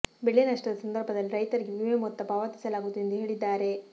ಬೆಳೆ ನಷ್ಟದ ಸಂದರ್ಭದಲ್ಲಿ ರೈತರಿಗೆ ವಿಮೆ ಮೊತ್ತ ಪಾವತಿಸಲಾಗುವುದು ಎಂದು ಹೇಳಿದ್ದಾರೆ